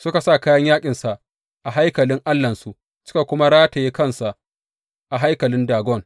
Suka sa kayan yaƙinsa a haikalin allahnsu suka kuma rataye kansa a haikalin Dagon.